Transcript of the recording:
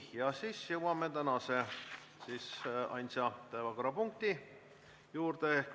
Jõuame tänase ainsa päevakorrapunkti juurde.